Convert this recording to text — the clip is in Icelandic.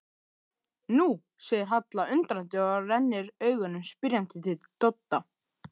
Nú, segir Halla undrandi og rennir augunum spyrjandi til Dodda.